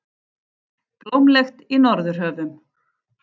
Blómlegt í Norðurhöfum